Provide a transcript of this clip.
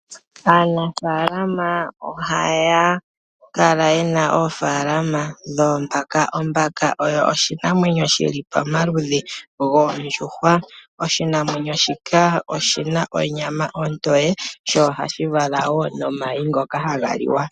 Aanafaalama ohaya Kala yena oofalalama dhoombaka. Ombaka osho oshinamwenyo shoka shili koludhi lwoondjuhwa. Oshikwamawawa shika oshina onyama ombwanawa .koshikwamawawa shoka ohakuzi omayi haga liwa.